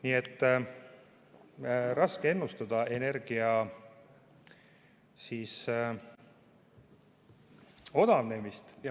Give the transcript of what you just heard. Nii et raske on ennustada energia odavnemist.